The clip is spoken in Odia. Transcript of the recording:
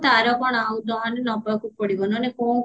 ତାର କଣ ନହେଲ ନବକୁ ପଡିବ ନହେଲେ କଣ କରିବୁ